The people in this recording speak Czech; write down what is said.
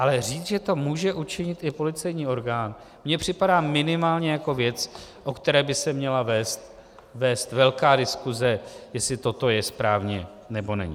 Ale říct, že to může učinit i policejní orgán, mi připadá minimálně jako věc, o které by se měla vést velká diskuse, jestli toto je správně, nebo není.